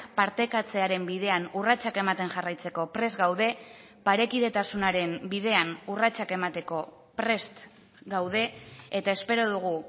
partekatzearen bidean urratsak ematen jarraitzeko prest gaude parekidetasunaren bidean urratsak emateko prest gaude eta espero dugu